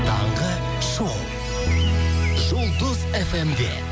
таңғы шоу жұлдыз фм де